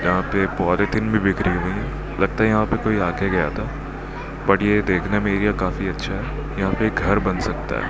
यहां पे एक पॉलीथिन भी बिखरी हुई है लगता है यहां पे कोई आ के गया था बट ये देखने में एरिया काफी अच्छा है यहां पे एक घर बन सकता है।